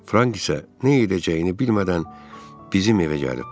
Frank isə nə edəcəyini bilmədən bizim evə gəlib.